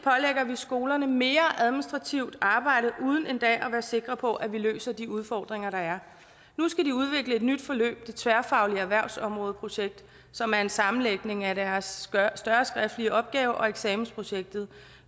skolerne mere administrativt arbejde uden endda at være sikre på at vi løser de udfordringer der er nu skal de udvikle et nyt forløb det tværfaglige erhvervsområdeprojekt som er en sammenlægning af deres større skriftlige opgave og eksamensprojektet